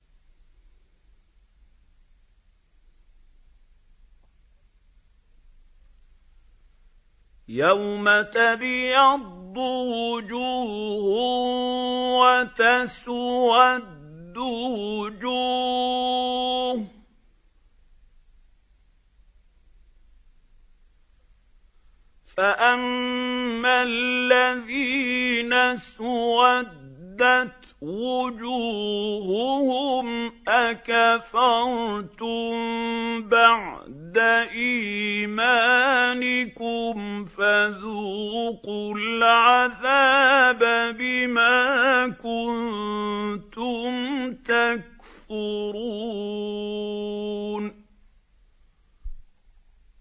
يَوْمَ تَبْيَضُّ وُجُوهٌ وَتَسْوَدُّ وُجُوهٌ ۚ فَأَمَّا الَّذِينَ اسْوَدَّتْ وُجُوهُهُمْ أَكَفَرْتُم بَعْدَ إِيمَانِكُمْ فَذُوقُوا الْعَذَابَ بِمَا كُنتُمْ تَكْفُرُونَ